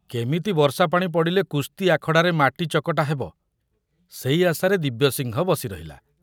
କେମିତି ବର୍ଷା ପାଣି ପଡ଼ିଲେ କୁସ୍ତି ଆଖଡ଼ାରେ ମାଟି ଚକଟା ହେବ, ସେଇ ଆଶାରେ ଦିବ୍ୟସିଂହ ବସି ରହିଲା।